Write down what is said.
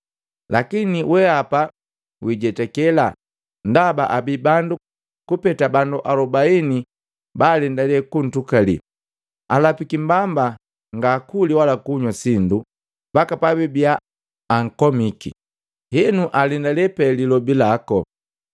Lakini wehapa wijetakela ndaba abii bandu kupeta bandu alubaini balendale kuntukali. Alapiki mbamba ngaakuli wala kunywa sindu mbaka pabibia ankomiki. Henu alendale pe lilobi laku.”